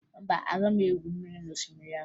Mba, agaghị m egwu mmiri n'osimiri ahụ